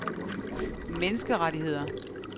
menneskerettigheder